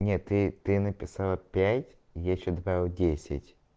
нет ты ты написала пять я ещё отправил десять